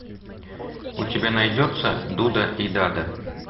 у тебя найдется дуда и дада